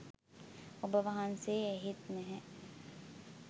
ඔබ වහන්සේ ඇහෙත් නෑ